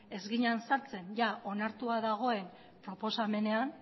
ez ginen sartzen onartua dagoen proposamenean